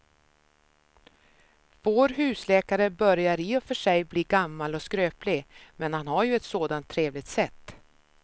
Vår husläkare börjar i och för sig bli gammal och skröplig, men han har ju ett sådant trevligt sätt!